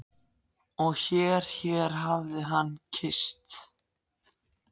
Og hér hér hafði hann kysst